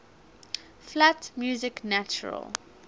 flat music natural